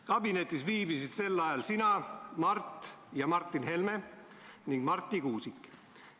Kabinetis viibisid sel ajal sina, Mart ja Martin Helme ning Marti Kuusik.